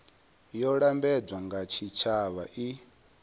yo lambedzwaho nga tshitshavha i